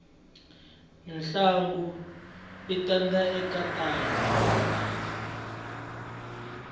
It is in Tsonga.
ntlangu i tanda eka tanda